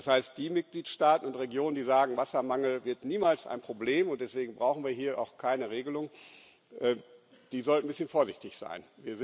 Das heißt, die Mitgliedstaaten und Regionen, die sagen, Wassermangel wird niemals ein Problem und deswegen brauchen wir hier auch keine Regelung, die sollten ein bisschen vorsichtig sein.